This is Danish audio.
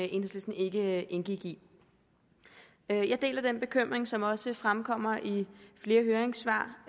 enhedslisten ikke indgik i jeg deler den bekymring som også fremkommer i flere høringssvar